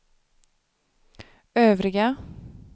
övriga